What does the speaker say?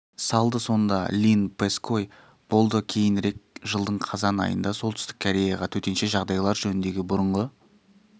салды сонда линн пэской болды кейінірек жылдың қазан айында солтүстік кореяға төтенше жағдайлар жөніндегі бұрынғы